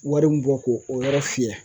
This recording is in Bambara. Wari min bɔ ko o yɔrɔ fiyɛ